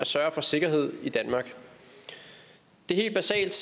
sørge for sikkerhed i danmark det er helt basalt